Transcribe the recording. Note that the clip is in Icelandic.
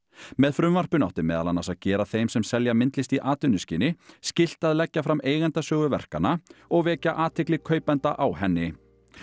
með frumvarpinu átti meðal annars að gera þeim sem selja myndlist í atvinnuskyni skylt að leggja fram eigendasögu verkanna og vekja athygli væntanlegra kaupenda á henni